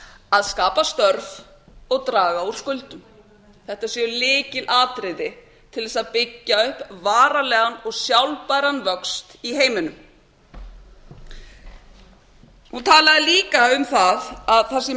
að skapa störf og draga úr skuldum þetta séu lykilatriði til að byggja upp varanlegan og sjálfbæran vöxt í heiminum hann talaði líka um að það sé